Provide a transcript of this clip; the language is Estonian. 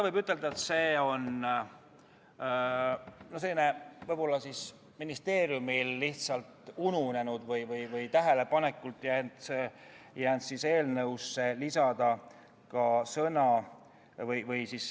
Võib ütelda, et see on ministeeriumil võib-olla lihtsalt ununenud või tähelepanuta jäänud.